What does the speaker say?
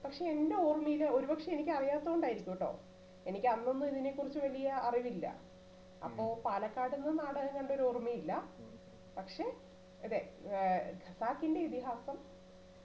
പക്ഷെ എന്റെ ഓർമയില് ഒരുപക്ഷെ എനിക്കറിയതോണ്ടായിരിക്കും ട്ടോ എനിക്കന്നൊന്നു ഇതിനെക്കുറിച്ചു വലിയ അറിവില്ല അപ്പൊ പാലക്കാടൊന്നും നാടകം കണ്ടൊരു ഓർമയില്ല പക്ഷെ അതെ ഏർ ഖസാക്കിന്റെ ഇതിഹാസം